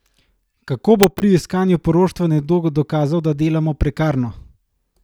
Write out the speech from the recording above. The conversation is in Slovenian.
Kako bo pri iskanju poroštva nekdo dokazal, da dela prekarno?